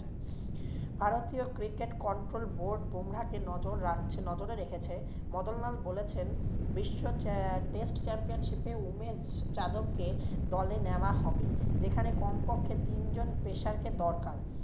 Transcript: ভারতীয় cricket control board Bumrah কে নজর রাখছে~নজরে রেখেছে। মদনলাল বলেছেন বিশ্ব test championship এ উমেশ যাদবকে দলে নেওয়া হবে। যেখানে কমপক্ষে তিনজন pacers কে দরকার।